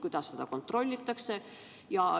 Kuidas seda kontrollitakse?